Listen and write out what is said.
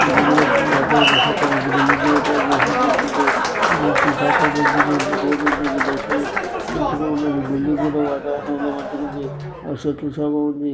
ఇది కూడ వాతావరణ శాఖ మంచి బిల్డింగ్ ఏర్పాటు చేసింది అంటుండ్రు మంచి శాఖ బదులుగ రోడ్ ఉన్నది బస్సు కు మంచిగ ఉన్నది బిల్డింగ్ కూడా వాతావరణంల మంచిగ ఉంది ఆ చెట్లు సేమ ఉంది.